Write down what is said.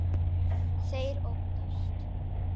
Þeir óttast.